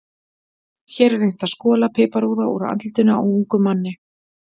Hér er reynt að skola piparúða úr andlitinu á ungum manni.